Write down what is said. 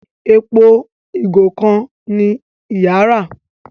Èpo igo kán ní ìyá rà.